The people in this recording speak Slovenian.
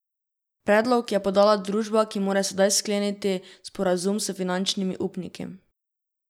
Predlog je podala družba, ki mora sedaj skleniti sporazum s finančnimi upniki.